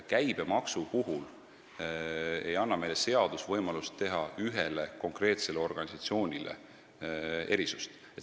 Käibemaksu puhul ei anna seadus meile võimalust teha ühele konkreetsele organisatsioonile erisusi.